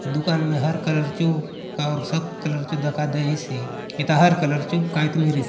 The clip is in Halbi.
दुकान ने हर कलर चो और सब कलर चो दखा देयसे एथा हर कलर चो कायतो मिरेसे।